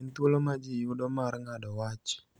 en thuolo ma ji yudo mar ng�ado wach